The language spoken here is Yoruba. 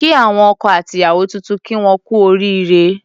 Kí àwọn ọkọ àti ìyàwó tuntun kí wón kú oríre